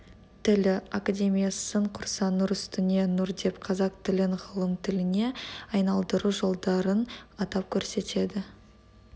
тілі академиясын құрса нұр үстіне нұр деп қазақ тілін ғылым тіліне айналдыру жолдарын атап көрсетеді